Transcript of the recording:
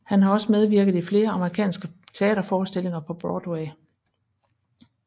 Han har også medvirket i flere amerikanske teaterforestillinger på Broadway